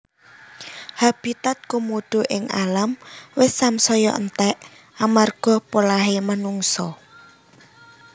Habitat Komodo ing alam wis samsaya entek amarga polahe manungsa